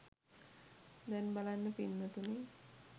දැන් බලන්න පින්වතුනි